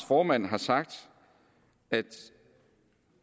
formand har sagt at